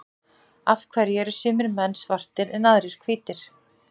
af hverju eru sumir menn svartir en aðrir hvítir